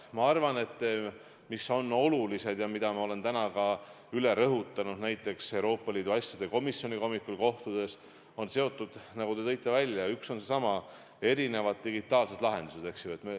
Ma arvan, et üks olulisi asju , nagu te tõite välja, on digitaalsed lahendused, eks ju.